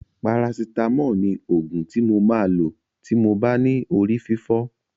Parasitámọ̀ ni òògùn ti mo máa lò tí mo bá ní orí fífọ́.